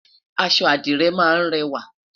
aṣọ adire má n rẹwa